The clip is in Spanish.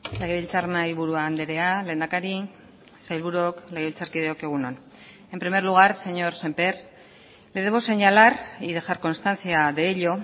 legebiltzar mahai buru andrea lehendakari sailburuok legebiltzarkideok egun on en primer lugar señor sémper le debo señalar y dejar constancia de ello